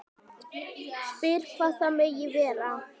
Spyr hvað það megi vera.